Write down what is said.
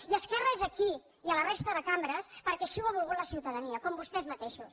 i esquerra és aquí i a la resta de cambres perquè així ho ha volgut la ciutadania com vostès mateixos